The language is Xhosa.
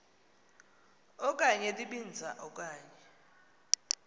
okanye libinza okanye